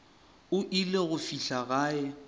o ile go fihla gae